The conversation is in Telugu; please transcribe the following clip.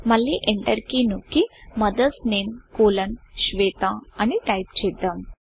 మళ్ళీ ఎంటర్ కీ నొక్కి మదర్స్ నేమ్ కోలోన్ SHWETAమదర్స్ నేమ్ కోలన్ శ్వేత అని టైపు చేద్దాం